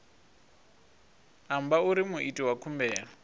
amba uri muiti wa khumbelo